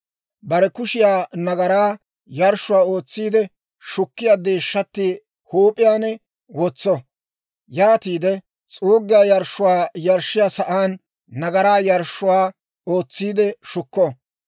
Bare kushiyaa nagaraa yarshshuwaa ootsiide shukkiyaa deeshshatti huup'iyaan wotso; yaatiide s'uuggiyaa yarshshuwaa yarshshiyaa sa'aan nagaraa yarshshuwaa ootsiide shukko.